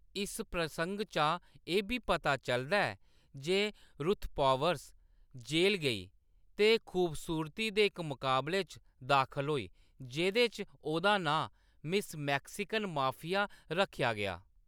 इस प्रसंग चा एह्‌‌ बी पता चलदा ऐ जे रुथ पॉवर्स जेल गेई ते खूबसूरती दे इक मकाबले च दाखल होई जेह्‌‌‌दे च ओह्‌‌‌दा नांऽ "मिस मैक्सिकन माफिया" रक्खेआ गेआ।